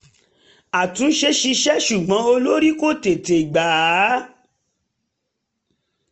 àtúnṣe ṣiṣẹ́ ṣùgbọ́n olórí kò tete gba á